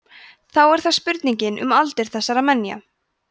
þá er það spurningin um aldur þessara menja